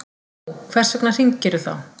Nú, hvers vegna hringirðu þá?